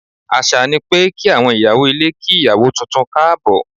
Àṣà ni pé kí àwọn ìyàwó ilé kí ìyàwó tuntun káàbọ̀.